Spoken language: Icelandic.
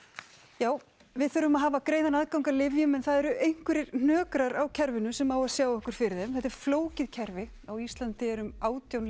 já við þurfum að hafa greiðan aðgang að lyfjum en það eru einhverjir hnökrar á kerfinu sem á að sjá okkur fyrir þeim þetta er flókið kerfi á Íslandi eru um átján